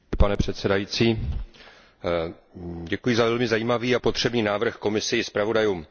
Pane předsedající, děkuji za velmi zajímavý a potřebný návrh Komisi i zpravodajům.